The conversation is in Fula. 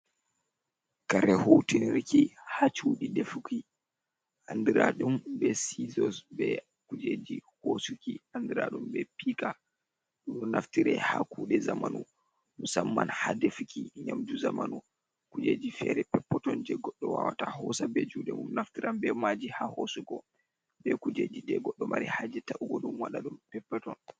Kare hutinirki ha cudi defuki andiradum be sizos, be kujeji hosuki andiradum be pika do naftire ha kude zamanu musamman ha defuki nyamju zamanu kujeji fere peppoton je goddo wawata hosa be jude mum naftiran be maji ha hosugo be kujeji de goddo mari ha je ta ugodum wadadum peppeton.